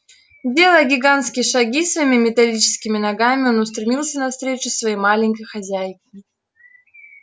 делая гигантские шаги своими металлическими ногами он устремился навстречу своей маленькой хозяйке